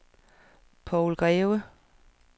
Poul Greve